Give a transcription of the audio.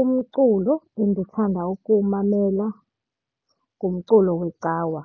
Umculo endithanda ukuwumamela ngumculo wecawa.